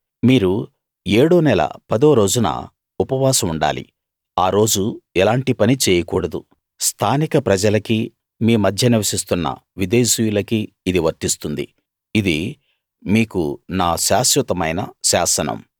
మీరు ఏడో నెల పదో రోజున ఉపవాసం ఉండాలి ఆ రోజు ఎలాంటి పనీ చేయకూడదు స్థానిక ప్రజలకీ మీ మధ్య నివసిస్తున్న విదేశీయులకీ ఇది వర్తిస్తుంది ఇది మీకు నా శాశ్వతమైన శాసనం